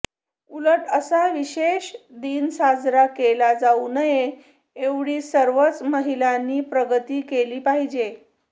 उलट असा विशेष दिन साजरा केला जाऊ नये एवढी सर्वच महिलांनी प्रगती केली पाहिजे